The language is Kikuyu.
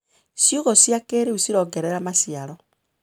Ciugũ cia kĩrĩu cirongerera maciaro.